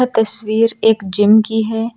तस्वीर एक जिम की है।